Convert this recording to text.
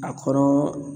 A kɔrɔ